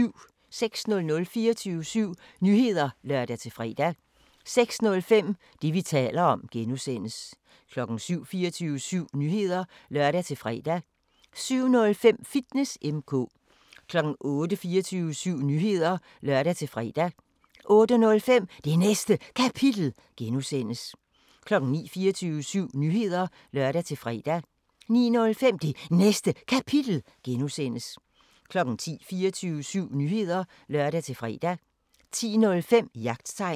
06:00: 24syv Nyheder (lør-fre) 06:05: Det, vi taler om (G) 07:00: 24syv Nyheder (lør-fre) 07:05: Fitness M/K 08:00: 24syv Nyheder (lør-fre) 08:05: Det Næste Kapitel (G) 09:00: 24syv Nyheder (lør-fre) 09:05: Det Næste Kapitel (G) 10:00: 24syv Nyheder (lør-fre) 10:05: Jagttegn